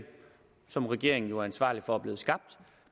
som regeringen jo er ansvarlig for er blevet skabt